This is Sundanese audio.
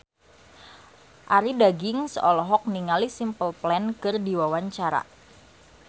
Arie Daginks olohok ningali Simple Plan keur diwawancara